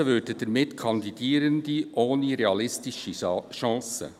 Ausgeschlossen würden damit Kandidierende ohne realistische Chancen.